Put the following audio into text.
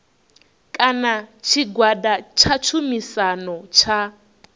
kana tshigwada tsha tshumisano tsha